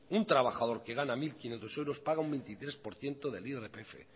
un trabajador que gana mil quinientos euros paga un veintitrés por ciento del irpf